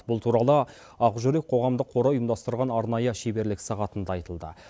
бұл туралы ақ жүрек қоғамдық қоры ұйымдастырған арнайы шеберлік сағатында айтылды